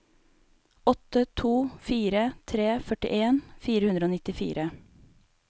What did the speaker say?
åtte to fire tre førtien fire hundre og nittifire